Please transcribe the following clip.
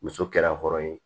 Muso kɛra hɔrɔn ye